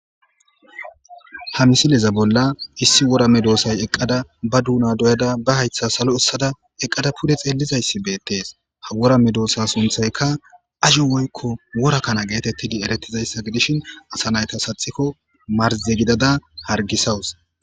Ha misilezan Bolla issi wora medisay eqida Ba dunan doyada Ba haytha Salo esada eqada Pude xellizaysi bettes Ha wora medosa sunthayka AJjo Woyko wora kana geteTidi eretidaysa Gidishin Asa nayta Saxiko marze gidada Hargisawus